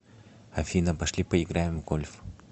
афина пошли поиграем в гольф